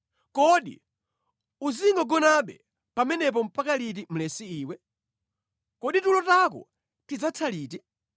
Kodi uzingogonabe pamenepo mpaka liti mlesi iwe? Kodi tulo tako tidzatha liti?